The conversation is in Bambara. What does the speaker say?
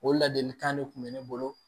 O ladilikan de tun bɛ ne bolo